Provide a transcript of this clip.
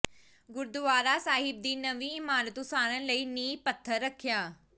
ਗੁਰਦੁਆਰਾ ਸਾਹਿਬ ਦੀ ਨਵੀਂ ਇਮਾਰਤ ਉਸਾਰਨ ਲਈ ਨੀਂਹ ਪੱਥਰ ਰੱਖਿਆ